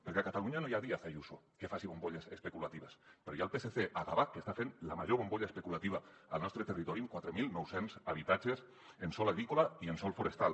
perquè a catalunya no hi ha díaz ayuso que faci bombolles especulatives però hi ha el psc a gavà que està fent la major bombolla especulativa al nostre territori amb quatre mil nou cents habitatges en sòl agrícola i en sòl forestal